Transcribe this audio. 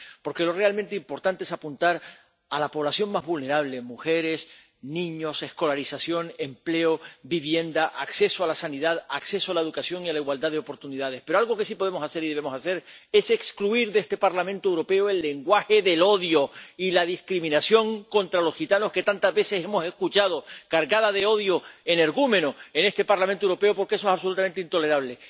Porque lo realmente importante es apuntar a la población más vulnerable —mujeres, niños— escolarización, empleo, vivienda, acceso a la sanidad, acceso a la educación e igualdad de oportunidades. Pero algo que sí podemos hacer y debemos hacer es excluir de este Parlamento Europeo el lenguaje del odio y la discriminación contra los gitanos que tantas veces hemos escuchado, cargada de odio energúmeno en este Parlamento Europeo, porque eso es absolutamente intolerable.